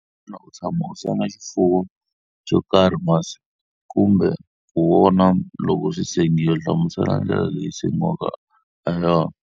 Xana u tshama u senga xifuwo xo karhi masi, kumbe ku vona loko xi sengiwa? Hlamusela ndlela leyi xi sengiwaka ha yona.